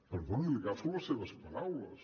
perdoni li agafo les seves paraules